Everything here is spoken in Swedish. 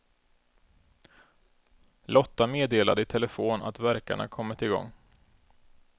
Lotta meddelade i telefon att värkarna kommit igång.